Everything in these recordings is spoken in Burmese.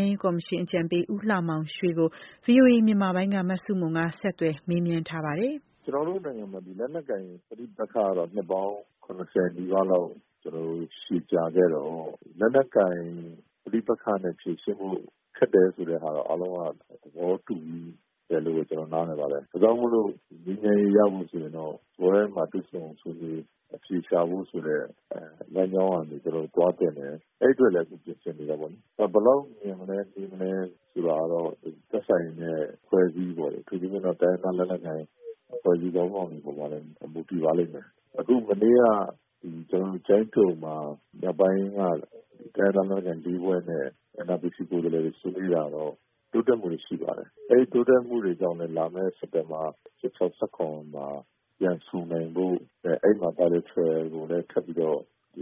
မ်းရေးကော်မရှင် အကြံပေး ဦးလှမောင်ရွှေ - “ကျနော်တို့နိုင်ငံမှာ လက်နက်ကိုင် ပဋိပက္ခက နှစ်ပေါင်း ၇၀ နီးပါးလောက် ရှည်ကြာခဲ့တော့ လက်နက်ကိုင် ပဋိပက္ခနဲ့ ဖြေရှင်းဖို့ ခက်တယ်ဆိုတာတော့ အားလုံးက သဘောတူပြီးတယ်လို့ ကျနော် နားလည်ပါတယ်။ ဒါကြောင့်မို့ ငြိမ်းချမ်းရေးရဖို့ဆိုရင်တော့ စားပွဲဝိုင်းမှာ တွေ့ဆုံဆွေးနွေး အဖြေရှာဖို့ဆိုတဲ့ လမ်းကြောင်းကနေ သွားသင့်တယ်။ အဲဒီအတွက်လည်း ပြင်ဆင်နေတယ်ပေါ့လေ။ ဘယ်လောက်မြန်မလဲ၊ နှေးမလဲဆိုတာတော့ သက်ဆိုင်တဲ့ အဖွဲ့အစည်းပေါ့လေ၊ အထူးသဖြင့်တော့ တိုင်းရင်းသားလက်နက်ကိုင် အဖွဲ့အစည်း ခေါင်းဆောင်တွေပေါ်မှာလည်း မူတည်ပါလိမ့်မယ်။ “အခု မနေ့က ကျိုင်းတုံမှာ မြောက်ပိုင်းက တိုင်းရင်းသားလက်နက်ကိုင် လေးဖွဲ့နဲ့ NRPC ကိုယ်စားလှယ်တွေ ဆွေးနွေးတာတော့ တိုးတက်မှုတွေ ရှိပါတယ်။ အဲဒီတိုးတက်မှုတွေကြောင့်လည်း လာမယ့် စက်တင်ဘာ ၁၆၊ ၁၇ မှာ ပြန်ဆုံနိုင်ဖို့။ အဲဒီမှာ Bilateral ကိုလည်း ထပ်ပြီး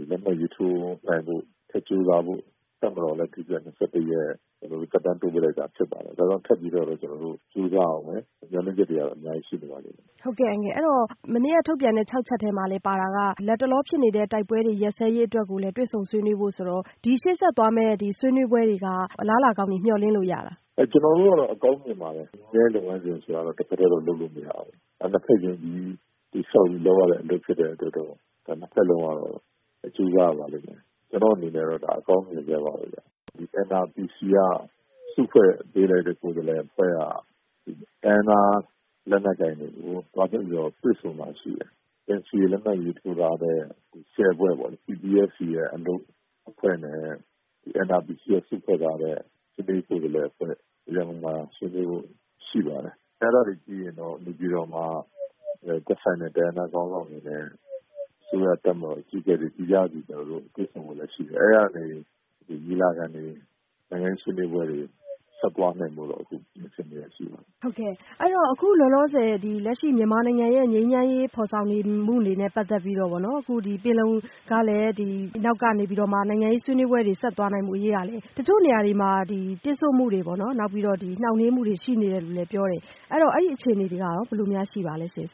လက်မှတ်ရေးထိုးနိုင်ဖို့ ထပ်ကြိုးစားဖို့ တပ်မတော်ကလည်း ၂၁ ရက် သက်တမ်းတိုးပေးလိုက်တာ ဖြစ်ပါတယ်။ ဒါကြောင့် ထပ်ပြီးတော့ ကျနော်တို့ ကြိုးစားရဦးမယ်။ မျှော်လင့်ချက်တွေကတော့ အများကြီး ရှိနေပါသေးတယ်။” မဆုမွန် - ဟုတ်ကဲ့ အဲ့ဒီ့တော့ မနေ့ကထုတ်ပြန်တဲ့ ၆ ချက်ထဲမှာလည်း လတ်တလောဖြစ်နေတဲ့ စစ်တွေရပ်စဲရေး၊ တွေ့ဆုံဆွေးနွေးဖို့ဆိုတာလည်း ပါတော့ ဒီရှေ့ဆက်သွားမယ့် ဆွေးနွေးပွဲတွေကနေ အလားအလာကောင်းတွေ မျှော်လင့်လို့ရသလားရှင့်။ “ကျနော်တို့ကတော့ အကောင်းမြင်ပါတယ်။ ငြိမ်းချမ်းရေးလုပ်ငန်းစဉ် ဆိုတာက တဖက်တည်းတော့ လုပ်လို့မရဘူး။ နှစ်ဖက် ယုံကြည်မှုတည်ဆောက်ပြီး လုပ်ရတဲ့အတွက် နှစ်ဖက်လုံးကတော့ ကြိုးစားရပါလိမ့်မယ်။ ကျနော့်အနေနဲ့တော့ အကောင်းမြင်ဆဲပါပဲဗျ။ NRPC က စုဖွဲ့ပေးလိုက်တဲ့ ကိုယ်စားလှယ်အဖွဲ့က တိုင်းရင်းသား လက်နက်ကိုင်တွေကို သွားပြီးတော့ တွေ့ဆုံတာရှိတယ်။ NCA လက်မှတ်ရေးထိုးထားတဲ့ ၁၀ ဖွဲ့ပေါ့၊ PPSC အလုပ်အဖွဲ့နဲ့ NRPC က စုဖွဲ့ထားတဲ့ ငြိမ်းချမ်းရေးကိုယ်စားလှယ်အဖွဲ့ ရန်ကုန်မှာ ဆွေးနွေးဖို့ ရှိပါတယ်။ အဲဒါပြီးရင်တော့ နေပြည်တော်မှာ သက်ဆိုင်တဲ့ တိုင်းရင်းသားခေါင်းဆောင်တွေနဲ့ အစိုးရ တပ်မတော် အကြီးအကဲတွေ သီးခြားစီ တွေ့ဆုံဖို့လည်း ရှိတယ်။ အဲဒီကနေ ညီလာခံတွေ၊ နိုင်ငံရေး ဆွေးနွေးပွဲတွေ ဆက်သွားနိုင်ဖို့တော့ လုပ်နေတာ ရှိပါတယ်။” မဆုမွန် - ဟုတ်ကဲ့ အခုလတ်တလော မြန်မာနိုင်ငံတွင်း ငြိမ်းချမ်းရေး ဖော်ဆောင်နေမှုတွေနဲ့ ပတ်သက်ပြီးတော့ပေါ့နော် ပင်လုံညီလာခံကနောက်ကနေ နိုင်ငံရေးဆွေးနွေးပွဲတွေ ဆက်သွားနိုင်ဖို့ကလည်း တချို့နေရာတွေမှာ တစ်ဆို့မှုတွေ နှောင့်နှေးမှုတွေ ရှိနေတယ်လို့လည်း ပြောတယ်။ အဲ့ဒီ့တော့ အဲ့ဒီ့အခြေအနေတွေကရော ဘယ်လိုများရှိပါသလဲရှင့်။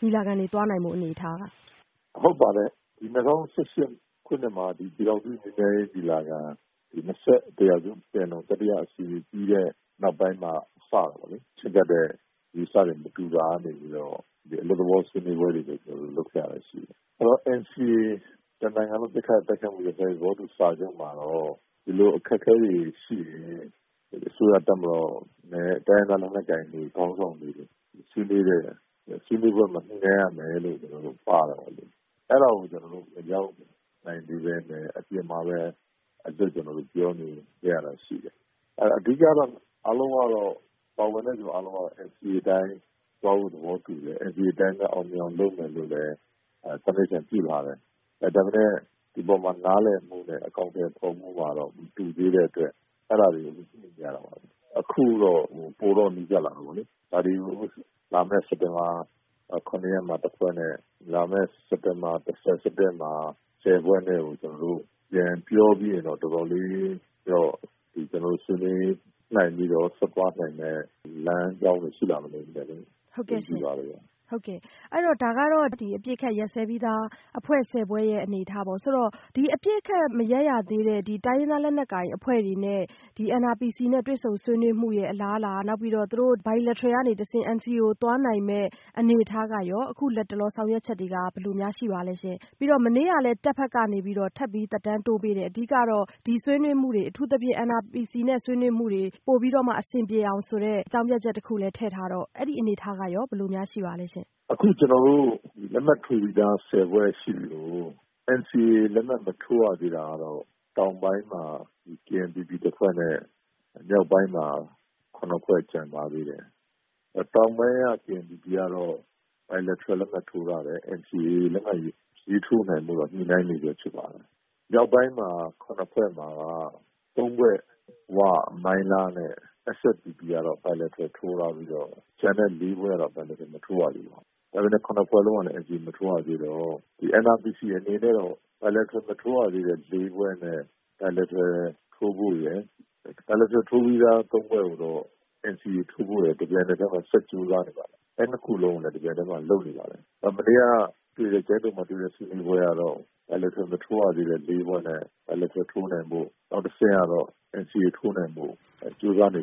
ညီလာခံ ဆက်သွားနိုင်ဖို့ အနေအထားက။ ငြိမ်းချမ်းရေးကော်မရှင် အကြံပေး ဦးလှမောင်ရွှေ - “ဟုတ်ပါတယ်။ ၂၀၁၈ ခုနှစ်မှာ ပြည်ထောင်စု ငြိမ်းချမ်းရေးညီလာခံ ၂၁ ရာစုပင်လုံ တတိယအစည်းအဝေး ပြီးတဲ့နောက်ပိုင်းမှ စတာပေါ့လေ။ ချဉ်းကပ်တဲ့ အယူအဆတွေ မတူတာကနေ အလွတ်သဘော ဆွေးနွေးပွဲတွေ လုပ်ထားတာရှိတယ်။ NCA တနိုင်ငံလုံး ပစ်ခတ်တိုက်ခိုက်မှု ရပ်စဲရေး သဘောတူစာချုပ်မှာတော့ ဒီလိုအခက်အခဲတွေရှိတယ်။ အစိုးရ တပ်မတော်နဲ့ တိုင်းရင်းသား လက်နက်ကိုင်ခေါင်းဆောင်တွေ ဆွေးနွေးပွဲမှာ ညှိနှိုင်းရမယ်လို့ ပါတာ။ အဲဒါကို ကျနော်တို့ မရောက်နိုင်သေးဘဲနဲ့ အပြင်မှာ အလွတ်ပြောနေခဲ့ရတာ ရှိတယ်။ “အဓိက ပါဝင်တဲ့လူအားလုံးက NCA အတိုင်း သွားဖို့ သဘောတူတယ်။ NCA အတိုင်း အောင်မြင်အောင် လုပ်မယ်လို့လည်း ဆုံးဖြတ်ချက် ရှိထားတယ်။ ဒါပေမယ့် ဒီအပေါ်မှာ နားလည်မှုနဲ့ အကောင်အထည် ဖော်မှုကတော့ မတူသေးတဲ့အတွက် အဲဒါတွေ ညှိနေရတာပါပဲ။ အခုတော့ ပိုတော့ နီးစပ်လာတာပေါ့လေ။ လာမယ့် စက်တင်ဘာ ၇ ရက်မှာ တဖွဲ့နဲ့၊ လာမယ့် စက်တင်ဘာ ၁၀၊ ၁၁ မှာ ဆယ်ဖွဲ့နဲ့ ပြန်ပြောပြီးရင်တော့ တော်တော်လေး ဆွေးနွေးနိုင်ပြီးတော့ ဆက်သွားနိုင်မယ့် လမ်းကြောင်းတွေ ရှိလာမယ်လို့ ယုံကြည်ပါတယ်ဗျ။” မဆုမွန် - ဟုတ်ကဲ့ ဒါကတော့ အပစ်အခတ်ရပ်စဲပြီးသား အဖွဲ့ ၁၀ ဖွဲ့ရဲ့ အနေအထားပေါ့နော်။ ဒါဆိုရင် အခု အပစ်အခတ်ရပ်စဲရေးစာချုပ် မထိုးသေးတဲ့ တိုင်းရင်းသားလက်နက်ကိုင်အဖွဲ့တွေနဲ့ NRPC ငြိမ်းချမ်းရေးဗဟိုဌာနနဲ့ တွေ့ဆုံနေမှုရဲ့ အလားအလာ နောက် Bilateral ကနေ NCA ကို ဆက်သွားနိုင်မယ့် အနေအထား အခုလတ်တလော ဆောင်ရွက်ချက်တွေက အလားအလာ အနေအထား ဘယ်လိုရှိပါသလဲရှင့်။ ပြီးတော့ မနေ့ကလည်း စစ်တပ်ဘက်က ထပ်သက်တမ်းတိုးပေးတယ်။ အဓိကကတော့ ဒီ NRPC နဲ့ ဆွေနွးမှုတွေ ပိုပြီးတော့မှ အဆင်ပြေအောင်ဆိုတဲ့ အကြောင်းပြချက်ကလည်း ထည့်ထားတော့ အဲ့ဒီ့အနေအထားကရော ဘယ်လိုရှိပါသလဲရှင့်။ ငြိမ်းချမ်းရေးကော်မရှင် အကြံပေး ဦးလှမောင်ရွှေ - “အခု ကျနော်တို့ လက်မှတ်ထိုးပြီးသား ဆယ်ဖွဲ့ရှိသလို NCA လက်မှတ်မထိုးရသေးတာကတော့ တောင်ပိုင်းမှာ KNPP တဖွဲ့နဲ့ မြောက်ပိုင်းမှာ ၇ ဖွဲ့ ကျန်ပါသေးတယ်။ တောင်ပိုင်းက KNPP ကတော့ Bilateral လက်မှတ်ထိုးထားတယ်၊ NCA လက်မှတ်ရေးထိုးနိုင်ဖို့ကတော့ ညှိနိုင်းနေဆဲရှိပါတယ်။ မြောက်ပိုင်းမှ ၇ ဖွဲ့မှာက ၃ ဖွဲ့၊ ဝ၊ မိုင်းလားနဲ့ SSPP ကတော့ Bilateral ထိုးထားပြီးတော့ ကျန်တဲ့ ၄ ဖွဲ့ကတော့ Bilateral မထိုးရသေးပါဘူး။ ဒါပေမယ့် ၇ ဖွဲ့လုံးကလည်း NCA မထိုးရသေးတော့ ဒီ NRPC အနေနဲ့တော့ Bilateral မထိုးရသေးတဲ့ ၄ ဖွဲ့နဲ့ Bilateral ထိုးဖို့ရယ်၊ Bilateral ထိုးပြီးသား ၃ ဖွဲ့ကိုတော့ NCA ထိုးဖို့ရယ်၊ တပြိုင်နက်တည်း ဆက်ကြိုးစားနေပါတယ်။ အဲဒီနှစ်ခုလုံးကိုလည်း တပြိုင်တည်းမှာ လုပ်နေပါတယ်။ မနေ့က ကျိုင်းတုံမှာတွေ့တဲ့ ဆွေးနွေးပွဲကတော့ Bilateral မထိုးရသေးတဲ့ ၄ ဖွဲ့နဲ့၊ Bilateral ထိုးနိုင်ဖို့၊ နောက်တဆင့်ကတော့ NCA ထိုးနိုင်ဖို့ ကြိုးစားနေ